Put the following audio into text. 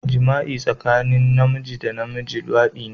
Jima'i tsakanin Namiji da Namiji, Luwadi ne